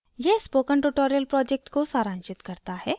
यह spoken tutorial project को सारांशित करता है